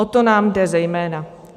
O to nám jde zejména.